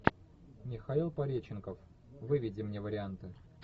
михаил пореченков выведи мне варианты